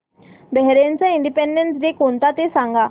बहारीनचा independence day कोणता ते सांगा